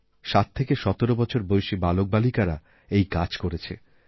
সাত থেকে সতেরো বছর বয়সী বালকবালিকারা এই কাজকরেছে